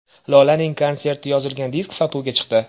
Lolaning konserti yozilgan disk sotuvga chiqdi.